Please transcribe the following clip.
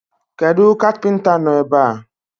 Kedu kapinta no ebe?